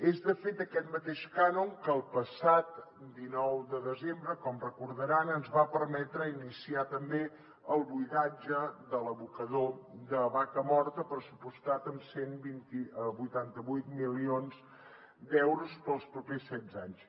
és de fet aquest mateix cànon que el passat dinou de desembre com deuen recordar ens va permetre iniciar també el buidatge de l’abocador de vacamorta pressupostat en vuitanta vuit milions d’euros per als propers setze anys